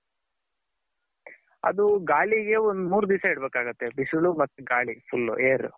ಅದು ಗಾಳಿಗೆ ಒಂದು ಮೂರ್ ದಿಸ ಇಡಬೇಕಾಗುತ್ತೆ ಬಿಸಿಲು ಮತ್ ಗಾಳಿ full air.